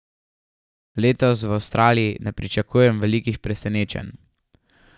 Letos v Avstraliji ne pričakujem velikih presenečenj.